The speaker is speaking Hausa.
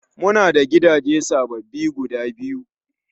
Mu na da gidaje sababbi guda biyu